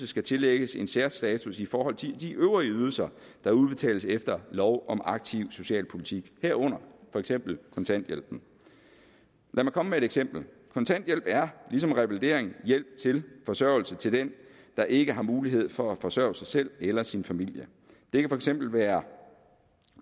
skal tillægges en særstatus i forhold til de øvrige ydelser der udbetales efter lov om aktiv socialpolitik herunder for eksempel kontanthjælpen lad mig komme med et eksempel kontanthjælp er ligesom revalidering hjælp til forsørgelse til den der ikke har mulighed for at forsørge sig selv eller sin familie det kan for eksempel være